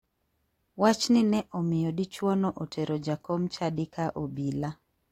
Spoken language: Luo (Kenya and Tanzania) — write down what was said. Wachni ne omiyo dichuono otero jakom chadi ka obila.